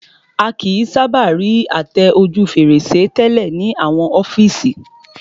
A kìí sábà rí àtẹ ojú fèrèsé tẹ́lẹ̀